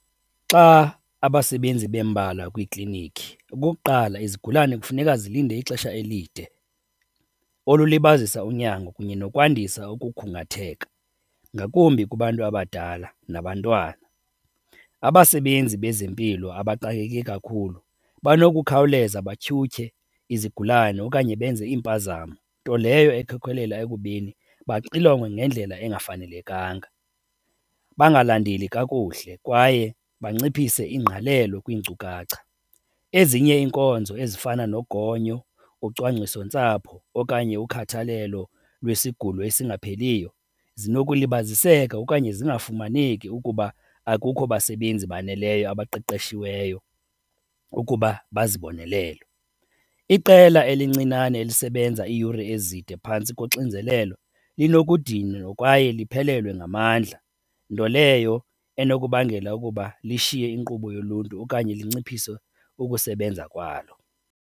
Xa abasebenzi bembalwa kwiiklinikhi, okokuqala izigulane kufuneka zilinde ixesha elide olulibazisa unyango kunye nokwandisa ukukhungatheka, ngakumbi kubantu abadala nabantwana. Abasebenzi bezempilo abaxakeke kakhulu banokukhawuleza batyhutyhe izigulane okanye benze iimpazamo, nto leyo ekhokelela ekubeni baxilonge ngendlela engafanelekanga, bangalandeli kakuhle kwaye banciphise ingqalelo kwiinkcukacha. Ezinye iinkonzo ezifana nogonyo, ucwangcisontsapho okanye ukhathalelo lwesigulo esingapheliyo zinokulibaziseka okanye zingafumaneki ukuba akukho basebenzi baneleyo abaqeqeshiweyo ukuba bazibonelele. Iqela elincinane elisebenza iiyure ezinde phantsi koxinzelelo linokudinwa kwaye liphelelwe ngamandla, nto leyo enokubangela ukuba lishiye inkqubo yoluntu okanye lunciphise ukusebenza kwalo.